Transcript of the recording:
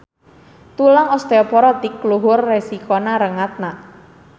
Tulang osteoporotik luhur resiko rengatna.